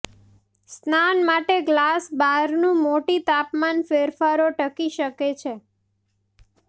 સ્નાન માટે ગ્લાસ બારણું મોટી તાપમાન ફેરફારો ટકી શકે છે